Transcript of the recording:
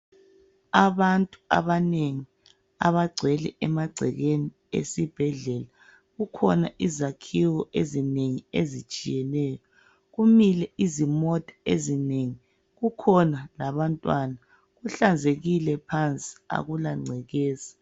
Abantu abanengi abagcwele emagcekeni esibhedlela, kukhona izakhiwo ezinengi ezitshiyeneyo, kumile izimota ezinengi kukhona labantwana, kuhlanzekile phansi akula ngcekeza.